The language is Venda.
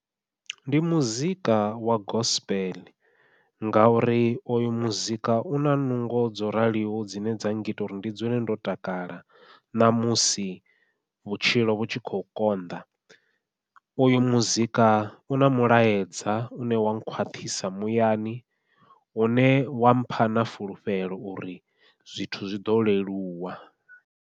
Ndi muzika wa gospel ngauri oyo muzika u na nungo dzo raliho dzine dza ngita uri ndi dzule ndo takala ṋamusi vhutshilo vhu tshi khou konḓa, uyu muzika u na mulaedza une wa nkhwaṱhisa muyani une wampha na fulufhelo uri zwithu zwi ḓo leluwa.